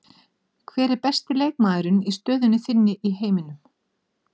Hver er besti leikmaðurinn í stöðunni þinni í heiminum?